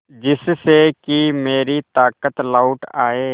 जिससे कि मेरी ताकत लौट आये